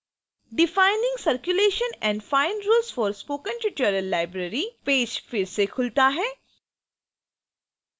defining circulation and fine rules for spoken tutorial library page फिर से खुलता है